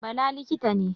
Bala likita ne